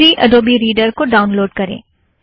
free Adobe Reader को download करें